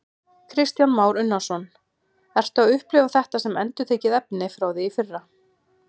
Kristján Már Unnarsson: Ertu að upplifa þetta sem endurtekið efni frá því í fyrra?